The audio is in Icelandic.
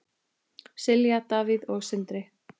Silja, Davíð og Sindri.